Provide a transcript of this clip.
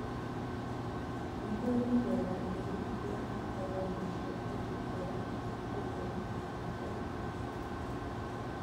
Nĩkũrĩ mĩthemba ĩrĩ ya bata ya indo cia kũhumbĩra, Oguo nĩtakuga